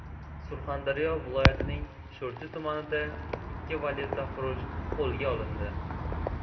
Surxondaryo viloyatining Sho‘rchi tumanida ikki valyutafurush qo‘lga olindi.